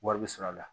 Wari bɛ sɔrɔ a la